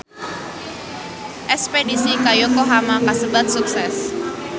Espedisi ka Yokohama kasebat sukses